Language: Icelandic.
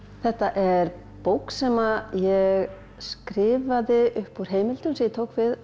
þetta er bók sem ég skrifaði upp úr heimildum sem ég tók við